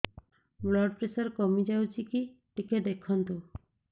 blood pressure କମି ଯାଉଛି କି ଟିକେ ଦେଖନ୍ତୁ